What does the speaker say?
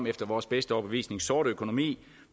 efter vores bedste overbevisning sort økonomi